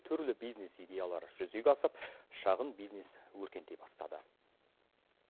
түрлі бизнес идеялары жүзеге асып шағын бизнес өркендей бастады